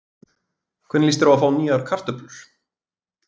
Hvernig líst þér á að fá nýjar kartöflur?